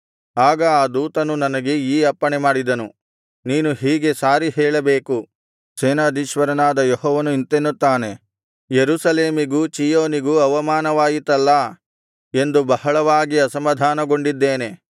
ಆಗ ಆ ದೂತನು ನನಗೆ ಈ ಅಪ್ಪಣೆ ಮಾಡಿದನು ನೀನು ಹೀಗೆ ಸಾರಿ ಹೇಳಬೇಕು ಸೇನಾಧೀಶ್ವರನಾದ ಯೆಹೋವನು ಇಂತೆನ್ನುತ್ತಾನೆ ಯೆರೂಸಲೇಮಿಗೂ ಚೀಯೋನಿಗೂ ಅವಮಾನವಾಯಿತಲ್ಲಾ ಎಂದು ಬಹಳವಾಗಿ ಅಸಮಾಧಾನಗೊಂಡಿದ್ದೇನೆ